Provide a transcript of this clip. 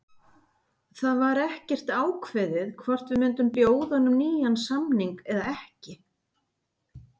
Það var ekkert ákveðið hvort við myndum bjóða honum nýjan samning eða ekki.